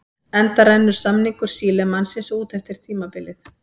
Enda rennur samningur Sílemannsins út eftir tímabilið.